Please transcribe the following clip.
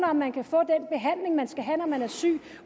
om man kan få den behandling man skal have når man er syg